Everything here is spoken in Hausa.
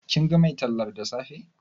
Kin ga mai tallar da safe?